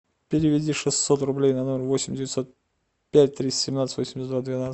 переведи шестьсот рублей на номер восемь девятьсот пять триста семнадцать восемьдесят два двенадцать